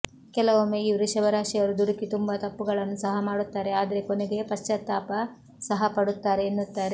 ಕೆಲವೊಮ್ಮೆ ಈ ವೃಷಭ ರಾಶಿಯವರು ದುಡುಕಿ ತುಂಬಾ ತಪ್ಪುಗಳನ್ನು ಸಹ ಮಾಡುತ್ತಾರೆ ಆದ್ರೆ ಕೊನೆಗೆ ಪಶ್ಚಾತಾಪ ಸಹ ಪಡುತ್ತಾರೆ ಎನ್ನುತ್ತಾರೆ